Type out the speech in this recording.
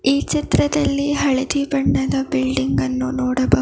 ಈ ಚಿತ್ರದಲ್ಲಿ ಹಳದಿ ಬಣ್ಣದ ಬಿಲ್ಡಿಂಗ್ ಅನ್ನು ನೋಡಬಹು--